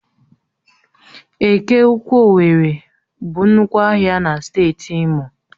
Eke ụkwụ owerri bụ nnukwu ahịa na steeti imo